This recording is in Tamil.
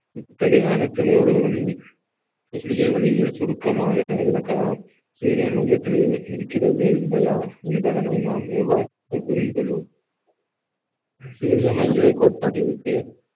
இத்தகைய அனைத்து வெளியே வெளியில் சுருக்கமாக விளக்கலாம் சூரியன் மையத்தில் இருக்~ இருக்கிறதே இல்லையா என்பதனை நாம் எவ்வாறு புரிந்து கொள்வோம் சூரிய மைய கோட்பாட்டிற்கு